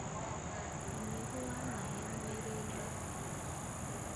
ũnyihu wa maĩ mwĩrĩ-inĩ